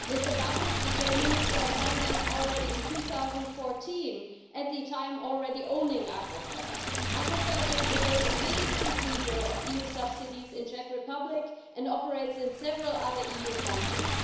Mr Babiš became Minister of Finance already in 2014 at the time when he already owned Agrofert. Agrofert is today the biggest receiver of EU subsidies in the Czech Republic and operates in several other EU countries.